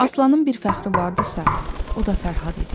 Aslanın bir fəxri vardısa, o da Fərhad idi.